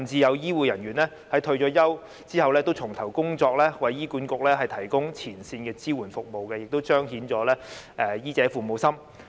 有醫護人員甚至在退休後重投工作，為醫院管理局提供前線的支援服務，亦彰顯了醫者父母心。